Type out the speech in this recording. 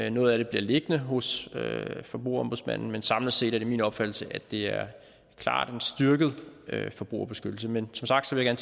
og noget af det bliver liggende hos forbrugerombudsmanden men samlet set er det min opfattelse at det klart er en styrket forbrugerbeskyttelse men som sagt vil jeg